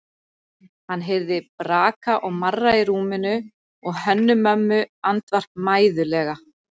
Hann heyrði braka og marra í rúminu og Hönnu-Mömmu andvarpa mæðulega.